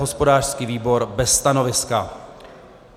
Hospodářský výbor bez stanoviska.